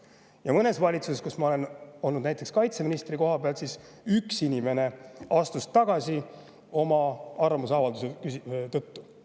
Ja näiteks valitsuses, kus ma olin kaitseministri koha peal, astus üks inimene tagasi oma arvamuse avaldamise tõttu.